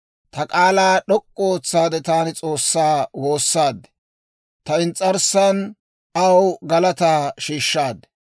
Ta k'aalaa d'ok'k'u ootsaade taani S'oossaa woossaad; ta ins's'arssan aw galataa shiishshaad.